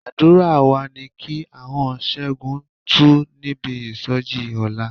Àdúrà wa ni kí ahọ́n Ṣẹ́gun tú níbi ìsọjí ọ̀la.